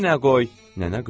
Nənə qışqırdı.